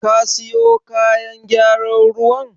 Ka siyo kayan gyaran ruwan?